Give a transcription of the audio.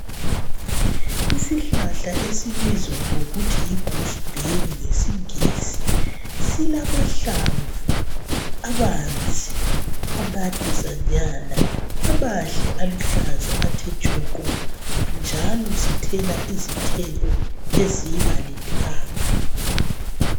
Isihlahla esibizwa ngokuthi yi goose berry ngesingisi silamahlamvu abanzi amadezanyana amahle aluhlaza athe tshoko njalo sithela izithelo ezibalithanga.